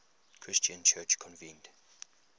christian church convened